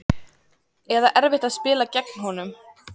Eða erfitt að spila gegn honum?